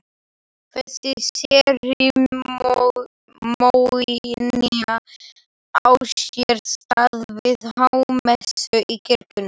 Þessi serimónía á sér stað við hámessu í kirkjunni.